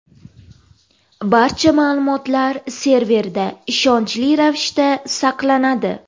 Barcha ma’lumotlar serverda ishonchli ravishda saqlanadi.